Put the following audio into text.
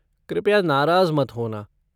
कृपया नाराज़ मत होना।